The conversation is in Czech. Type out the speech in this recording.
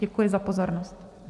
Děkuji za pozornost.